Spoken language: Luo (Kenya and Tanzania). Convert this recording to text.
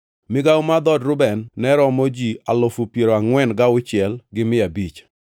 Migawo mar dhood Reuben ne romo ji alufu piero angʼwen gauchiel gi mia abich (46,500).